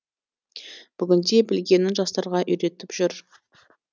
бүгінде білгенін жастарға үйретіп жүр